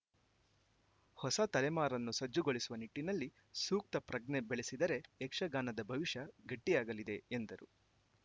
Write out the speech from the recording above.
ಹೊಸ ತಲೆಮಾರನ್ನು ಸಜ್ಜುಗೊಳಿಸುವ ನಿಟ್ಟಿನಲ್ಲಿ ಸೂಕ್ತ ಪ್ರಜ್ಞೆ ಬೆಳೆಸಿದರೆ ಯಕ್ಷಗಾನದ ಭವಿಷ್ಯ ಗಟ್ಟಿಯಾಗಲಿದೆ ಎಂದರು